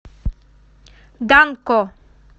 данко